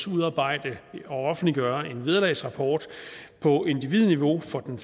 udarbejde og offentliggøre en vederlagsrapport på individniveau for den